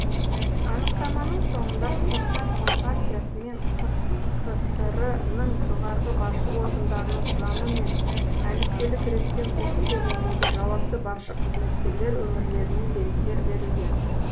анықтаманың соңында қазақстан компартиясы мен қкср ның жоғарғы басшы органдарының құрамы мен әліппелік ретпен осы кезеңдегі жауапты басшы қызметкерлер өмірлерінен деректер берілген